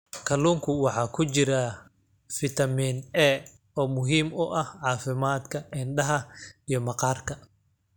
Kalluunka waxaa ku jira fitamiin A oo muhiim u ah caafimaadka indhaha iyo maqaarka.